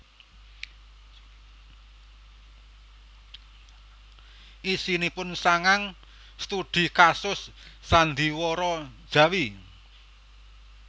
Isinipun sangang studi kasus sandhiwara Jawi